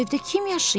O evdə kim yaşayır?